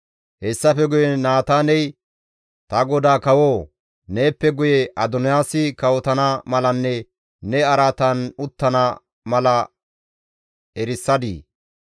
Hessafe guye Naataaney, «Ta godaa kawoo! Neeppe guye Adoniyaasi kawotana malanne ne araatan uttana mala erisadii?